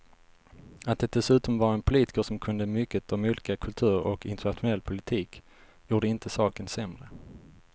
Att det dessutom var en politiker som kunde mycket om olika kulturer och internationell politik gjorde inte saken sämre.